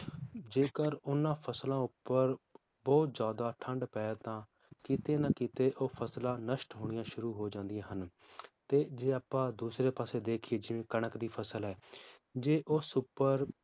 ਜੇਕਰ ਉਹਨਾਂ ਫਸਲਾਂ ਉਪਰ ਬਹੁਤ ਜ਼ਿਆਦਾ ਠੰਡ ਪਏ ਤਾਂ ਕਿਤੇ ਨਾ ਕਿਤੇ ਉਹ ਫਸਲਾਂ ਨਸ਼ਟ ਹੋਣੀਆਂ ਸ਼ੁਰੂ ਹੋ ਜਾਂਦੀਆਂ ਹਨ ਤੇ ਜੇ ਆਪਾਂ ਦੂਸਰੇ ਪਾਸੇ ਦੇਖੀਏ ਜਿਵੇ ਕਣਕ ਦੀ ਫਸਲ ਹੈ ਜੇ ਉਸ ਉਪਰ